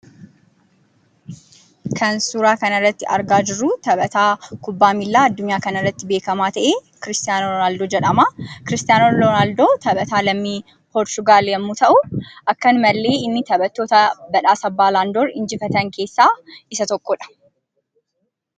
Kan suuraa kanarratti argaa jiruu taphataa kubbaa miilaa addunyaa kanarratti beekamaa ta'e Kiristaanoo Roonaaldoo jedhama. Kiristaanoo Roonaaldoo taphataa lammii biyya Poorchugaal yemmuu ta'uu, akkanumallee inni taphattoota badhaasa baalaandoor injifatan keessaa isa tokkodha.